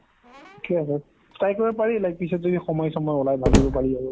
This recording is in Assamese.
ঠিকে আছে, try কৰিব পাৰি like পিছত যদি সময় চময় ওলাই ভাবিৱ পাৰি আৰু।